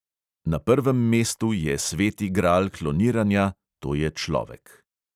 Na prvem mestu je sveti gral kloniranja, to je človek.